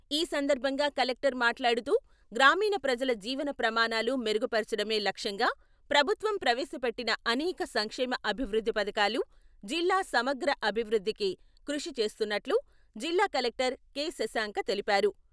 ఈ సందర్భంగా కలెక్టర్ మాట్లాడుతూ గ్రామీణ ప్రజల జీవన ప్రమాణాలు మెరుగుపర్చడమే లక్ష్యంగా ప్రభుత్వం ప్రవేశ పెట్టిన అనేక సంక్షేమ అభివృద్ధి పథకాలు జిల్లా సమగ్ర అభివృద్ధికి కృషి చేస్తున్నట్లు జిల్లా కలెక్టర్ కె.శశాంక తెలిపారు.